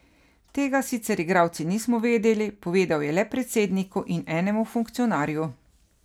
Tega sicer igralci nismo vedeli, povedal je le predsedniku in enemu funkcionarju.